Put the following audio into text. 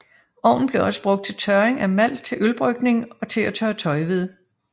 Ovnen blev også brugt til tørring af malt til ølbrygning og til at tørre tøj ved